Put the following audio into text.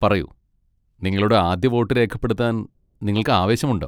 പറയൂ, നിങ്ങളുടെ ആദ്യ വോട്ട് രേഖപ്പെടുത്താൻ നിങ്ങൾക്ക് ആവേശമുണ്ടോ?